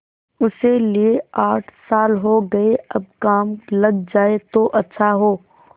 उसे लिये आठ साल हो गये अब काम लग जाए तो अच्छा हो